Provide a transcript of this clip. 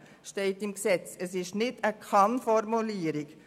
So steht es im Gesetz, es ist keine Kann-Formulierung.